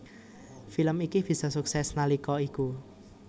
Film iki bisa sukses nalika iku